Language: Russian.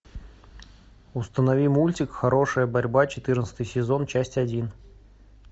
установи мультик хорошая борьба четырнадцатый сезон часть один